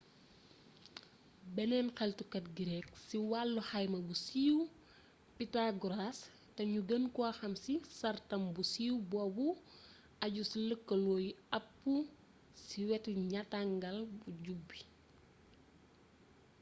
beneen xeltukat grek ci wàllu xayma bu siiw pythagoras te nu gën ko xam ci sàrtam bu siiw boobu ajju ci lëkaloo yi ab ci weti ñattangal bu jub bi